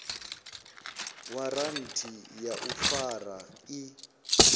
waranthi ya u fara i